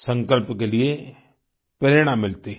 संकल्प के लिए प्रेरणा मिलती है